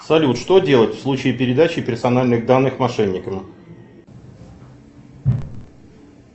салют что делать в случае передачи персональных данных мошенникам